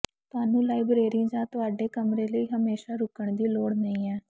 ਤੁਹਾਨੂੰ ਲਾਈਬਰੇਰੀ ਜਾਂ ਤੁਹਾਡੇ ਕਮਰੇ ਲਈ ਹਮੇਸ਼ਾਂ ਰੁਕਣ ਦੀ ਲੋੜ ਨਹੀਂ ਹੈ